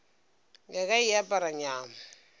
ya ka e apara nyamo